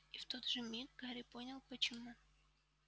и в тот же миг гарри понял почему